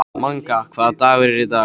Manga, hvaða dagur er í dag?